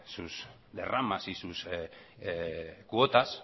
sus derramas y sus cuotas